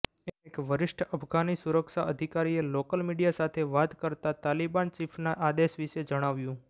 એક વરિષ્ઠ અફઘાની સુરક્ષા અધિકારીએ લોકલ મીડિયા સાથે વાત કરતા તાલિબાન ચીફના આદેશ વિશે જણાવ્યું